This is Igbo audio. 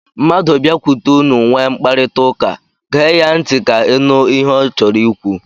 Mmadụ biakwute unu nwee mkparịtaụka, gee ya ntị ka ị nụ ihe ọ chọrọ ikwu.